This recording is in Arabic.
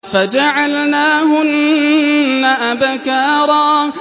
فَجَعَلْنَاهُنَّ أَبْكَارًا